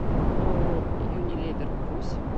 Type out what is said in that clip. ооо юнилевер русь